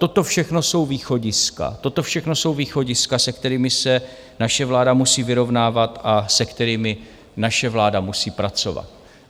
Toto všechno jsou východiska, se kterými se naše vláda musí vyrovnávat a se kterými naše vláda musí pracovat.